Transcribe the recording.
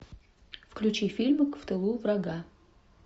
включи фильм в тылу врага